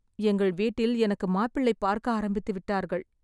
எங்கள் வீட்டில் எனக்கு மாப்பிள்ளை பார்க்க ஆரம்பித்து விட்டார்கள்